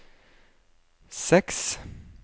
seks